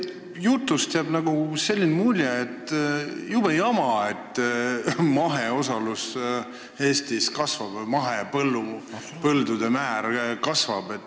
Teie jutust jääb selline mulje, et see on jube jama, hirmus probleem, et Eestis mahepõldude pindala kasvab.